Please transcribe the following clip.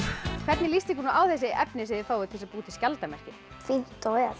hvernig líst ykkur á þessi efni sem þið fáið til að búa til skjaldarmerki fínt og